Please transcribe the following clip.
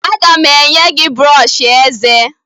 Aga m enye gị brọọshị eze